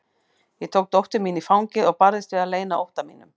Ég tók dóttur mína í fangið og barðist við að leyna ótta mínum.